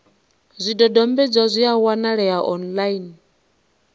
zwidodombedzwa zwi a wanalea online